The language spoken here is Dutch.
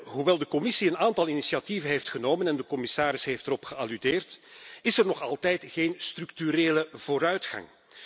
Hoewel de Commissie een aantal initiatieven heeft genomen en de commissaris heeft ernaar verwezen is er nog altijd geen structurele vooruitgang.